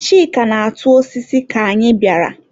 Chika na-atụ osisi ka anyị bịara.